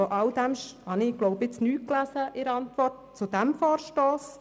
Von alldem habe ich in der Antwort zu diesem Vorstoss nichts gelesen.